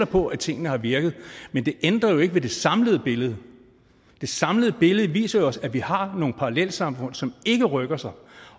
på at tingene har virket men det ændrer jo ikke på det samlede billede det samlede billede viser os jo at vi har nogle parallelsamfund som ikke rykker sig